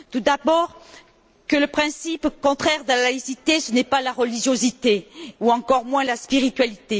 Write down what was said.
Tout d'abord, le principe contraire de la laïcité, ce n'est pas la religiosité ou encore moins la spiritualité.